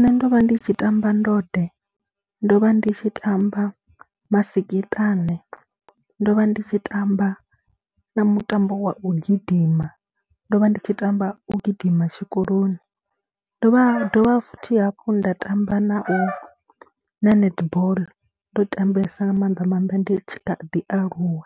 Nṋe ndo vha ndi tshi tamba ndode, ndo vha ndi tshi tamba masikiṱane, ndo vha ndi tshi tamba na mutambo wa u gidima, ndo vha ndi tshi tamba u gidima tshikoloni, ndo vha dovha futhi hafhu nda tamba na na netball, ndo tambesa nga maanḓa maanḓa ndi tshi kha ḓialuwa